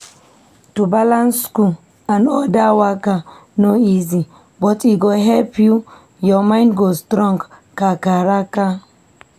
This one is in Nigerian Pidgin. To balance school and other waka no easy, but e go help you. ur mind go strong kakaraka.